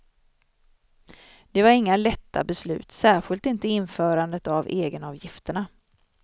Det var inga lätta beslut, särskilt inte införandet av egenavgifterna.